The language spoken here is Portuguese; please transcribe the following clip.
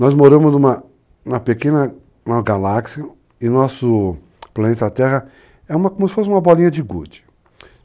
Nós moramos numa pequena galáxia e nosso planeta terra é como se fosse uma bolinha de gude.